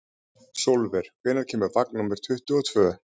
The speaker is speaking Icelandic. Sólver, hvenær kemur vagn númer tuttugu og tvö?